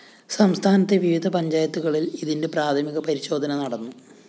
സംസ്ഥാനത്തെ വിവിധ പഞ്ചായത്തുകളില്‍ ഇതിന്റെ പ്രാഥമിക പരിശോധന നടന്നു